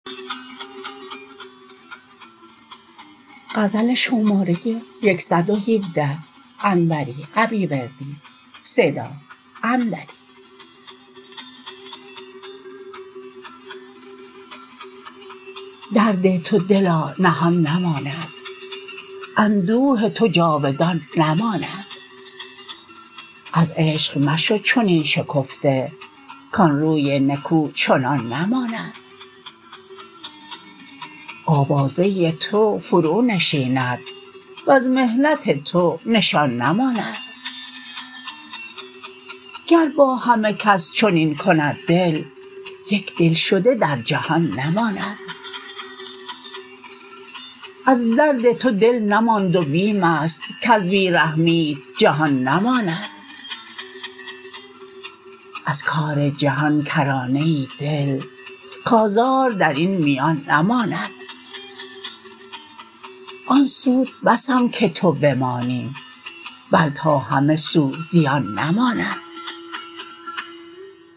درد تو دلا نهان نماند اندوه تو جاودان نماند از عشق مشو چنین شکفته کان روی نکو چنان نماند آوازه تو فرو نشیند وز محنت تو نشان نماند گر با همه کس چنین کند دل یک دلشده در جهان نماند از درد تو دل نماند و بیمست کز بی رحمیت جان نماند از کار جهان کرانه ای دل کازار درین میان نماند آن سود بسم که تو بمانی بل تا همه سو زیان نماند